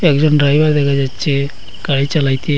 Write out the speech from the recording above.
একজন ড্রাইভার দেখা যাচ্ছে গাড়ি চালাইতে।